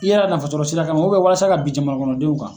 I yɛrɛ ka nafa sɔrɔ sira kama walasa ka bin jamana kɔnɔdenw kan.